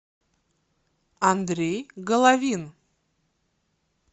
андрей головин